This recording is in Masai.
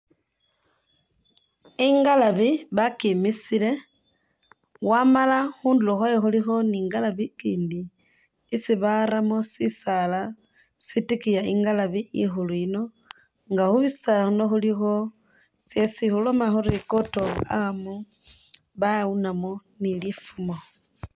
Ingalabi bakimisile wamala khundulo khwayo khulikho ni ngalabi ikindi isi baramo sisaala sitikiya ingalabi ikhulu yino nga khurisa khuno khulikho Isi khuloma khuri coat of arm bawunamo ni lifumo